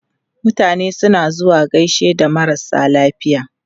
Mutane suna zuwa gaishe da marasa lafiya.